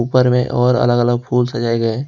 ऊपर में और अलग अलग फूल सजाए गए हैं।